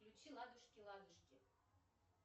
включи ладушки ладушки